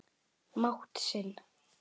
mátt sinn.